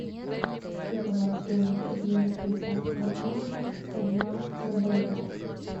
какова стоимость обмена швейцарского франка одна на боливар